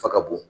Fa ka bon